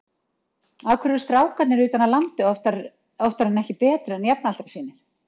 Af hverju eru strákarnir utan af landi oftar en ekki betri en jafnaldrar sínir?